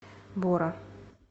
бора